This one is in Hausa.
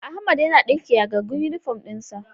Ahmad yana ɗinke yagaggen inifom ɗin sa